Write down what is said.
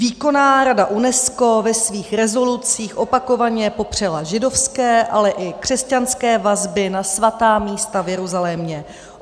Výkonná rada UNESCO ve svých rezolucích opakovaně popřela židovské, ale i křesťanské vazby na svatá místa v Jeruzalémě.